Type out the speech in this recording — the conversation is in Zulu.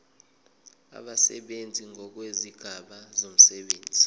abasebenzi ngokwezigaba zomsebenzi